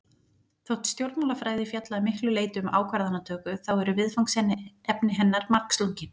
Þótt stjórnmálafræði fjalli að miklu leyti um ákvarðanatöku þá eru viðfangsefni hennar margslungin.